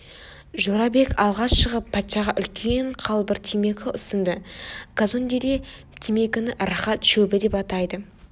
жорабек алға шығып патшаға үлкен қалбыр темекі ұсынды казондеде темекіні рахат шөбі деп атайды